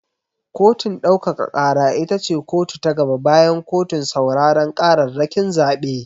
Kotun ɗaukaka ƙara ita ce kotu ta gaba bayan kotun sauraren ƙararrakin zaɓe.